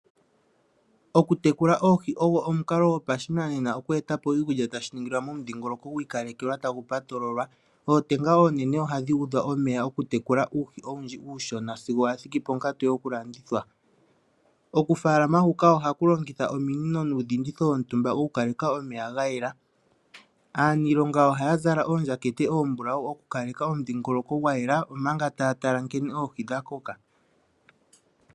Okutekula oohi ogo omukalo gwopashinanena tagu vulu oku etapo iikulya tashi ningilwa momudhingoloko gwiikalekelwa tagu patololwa. Ootenga onene ohadhi udha omeya oku tekula uuhi owundji uushona sigo wathiki ponkatu yoku landithwa. Oku falama huka ohaku longitha omiinino nuudhinditho wontumba woku kaleka omeya gayela. Aanilonga oha zala ondjakete ombulawu oku kaleka omudhingoloko gwayela omanga ta tala nke oohi dha kokoka.